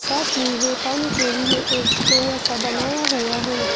साथ में है पानी के लिए एक खोवा सा बनाया हुआ है ।